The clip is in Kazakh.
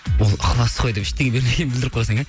ол ықылас қой деп ештеңе бермегенін білдіріп қойсаң иә